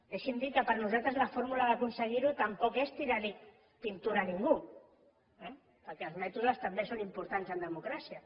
deixi’m dir que per nosaltres la fórmula d’aconseguir ho tampoc és tirar li pintura a ningú eh perquè els mètodes també són importants en democràcia